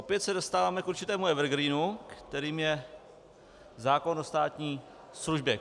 Opět se dostáváme k určitém evergreenu, kterým je zákon o státní službě.